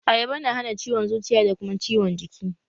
Ayaba na hana ciwon zuciya da kuma ciwon jiki